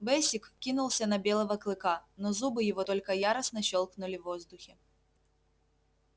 бэсик кинулся на белого клыка но зубы его только яростно щёлкнули в воздухе